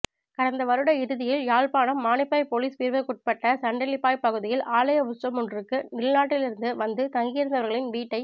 கடந்த வருட இறுதியில் யாழ்ப்பாணம் மானிப்பாய் பொலிஸ் பிரிவுக்குட்பட்டசண்டிலிப்பாய் பகுதியில் ஆலய உற்சவமொன்றுக்கு வெளிநாட்டிலிருந்து வந்து தங்கியிருந்தவர்களின் வீட்டை